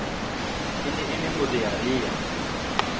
e ne e le morearea